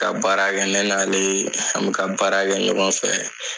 Ka baarakɛ ne n'ale an bɛ ka baara kɛ ɲɔgɔn fɛ.